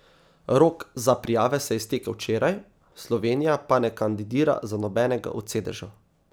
Rok za prijave se je iztekel včeraj, Slovenija pa ne kandidira za nobenega od sedežev.